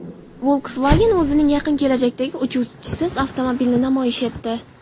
Volkswagen o‘zining yaqin kelajakdagi "Uchuvchisiz" avtomobilini namoyish etdi.